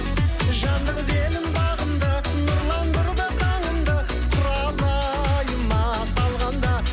жандыр дедім бағымды нұрландырды таңымды құралайыма салғанда